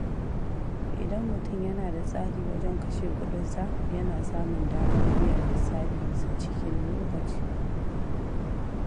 Idan mutum yana da tsari wajen kashe kuɗinsa, yana samun damar biyan lissafinsa cikin lokaci.